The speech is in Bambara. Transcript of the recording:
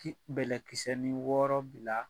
Ki bɛlɛkisɛni wɔɔrɔ bila